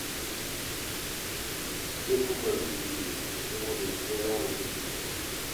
Sai kumbura kai yake yi saboda yanzu ya zama babban likita.